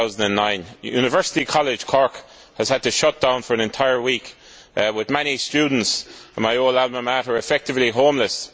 2009! University College Cork has had to shut down for an entire week, with many students in my Alma Mater effectively homeless.